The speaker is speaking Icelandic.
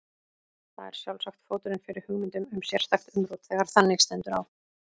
Það er sjálfsagt fóturinn fyrir hugmyndum um sérstakt umrót þegar þannig stendur á.